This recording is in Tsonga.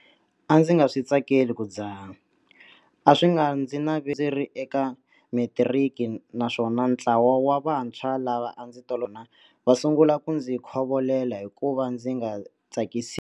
A ndzi nga swi tsakeli ku dzaha, a swi nga ndzi naveti ndzi ri eka matiriki naswona ntlawa wa vantshwa lava a ndzi tolovele ku hungasa na vona va sungule ku ndzi khovolela hi ku ka ndzi nga tsakisiwi.